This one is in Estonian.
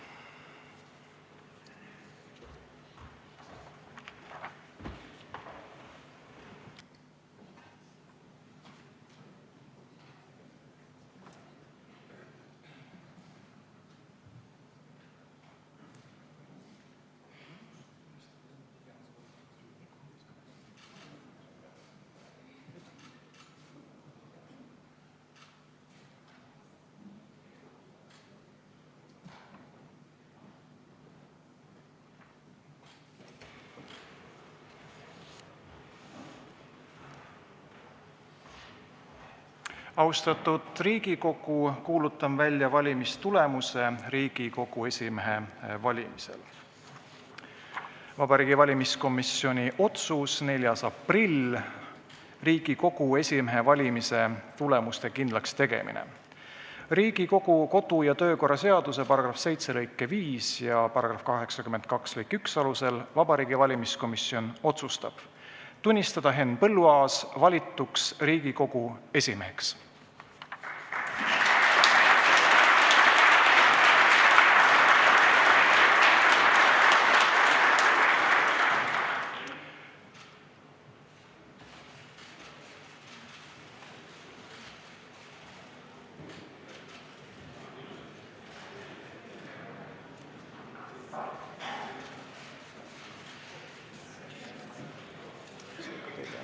Austatud Riigikogu, kuulutan välja Riigikogu esimehe valimise tulemused: "Vabariigi Valimiskomisjoni 4. aprilli otsus "Riigikogu esimehe valimise tulemuste kindlakstegemine": Riigikogu kodu- ja töökorra seaduse § 7 lõike 5 ja § 82 lõike 1 alusel Vabariigi Valimiskomisjon otsustab: tunnistada Henn Põlluaas valituks Riigikogu esimeheks.